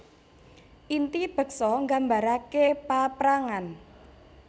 Inti beksa nggambarake paaprangan